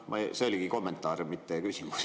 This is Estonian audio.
See oli kommentaar, mitte küsimus.